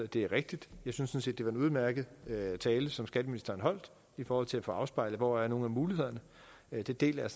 det er rigtigt jeg synes set det var en udmærket tale som skatteministeren holdt i forhold til at få afspejlet hvor der er nogle muligheder det deler jeg